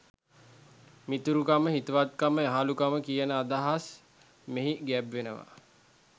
මිතුරුකම, හිතවත්කම, යහළුකම කියන අදහස් මෙහි ගැබ්වෙනවා.